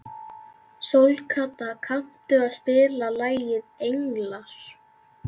Sólkatla, kanntu að spila lagið „Englar“?